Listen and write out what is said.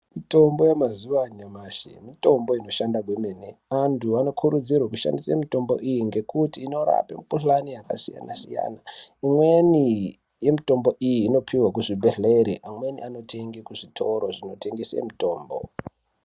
Mitombo yamazuwa anyamashi mitombo inoshanda kwemene. Antu anokurudzirwe kushandise mitombo iyi ngekuti inorape mikhuhlani yakasiyana-siyana . Imweni yemitombo iyi inopihwe kuzvibhedhlere, amweni anotenge kuzvitoro zvinotengese mitombo.